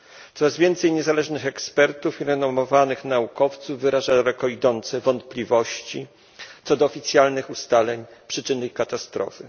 Coraz więcej niezależnych ekspertów i renomowanych naukowców wyraża daleko idące wątpliwości co do oficjalnych ustaleń przyczyn tej katastrofy.